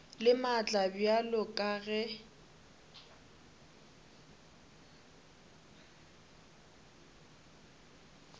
le maatla bjalo ka ge